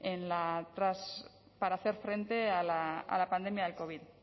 para hacer frente a la pandemia del covid